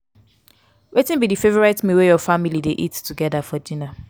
wetin be di favorite meal wey your family dey eat together for dinner?